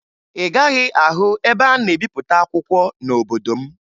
Ị gaghị ahụ ebe a na-ebipụta akwụkwọ n'obodo m